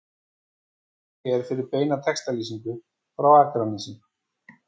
Smelltu hér fyrir beina textalýsingu frá Akranesi